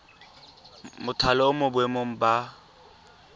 mothale o mo boemong jwa